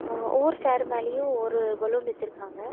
ஆ ஒவ்வொரு சேர் மேலயு ஒரு பலூன் வச்சுருக்காங்க.